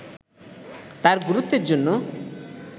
তার গুরুত্বের জন্য